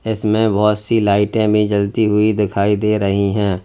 इसमें बहुत सी लाइटें भी जलती हुई दिखाई दे रही हैं।